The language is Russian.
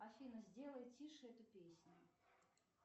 афина сделай тише эту песню